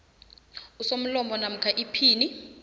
usomlomo namkha iphini